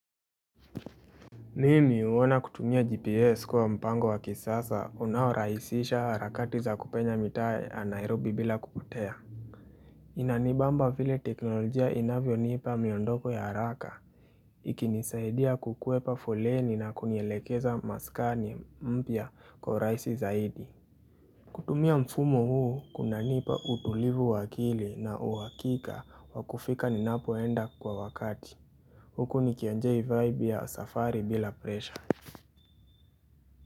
Nini uona kutumia gps kwa mpango wa kisasa unahoraisisha harakati za kupenya mita ya Nairobi bila kukutea Inanibamba vile teknolojia inavyonipa miondoko ya haraka Ikinisaidia kukuepa fuleni na kunyelekeza maskani mpya kwa raisi zaidi kutumia mfumo huu kuna nipa utulivu wa akili na uwakika wakufika ninapoenda kwa wakati Huku nikionjei vibe ya safari bila presha.